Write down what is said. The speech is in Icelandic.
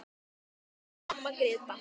Elsku amma Gréta.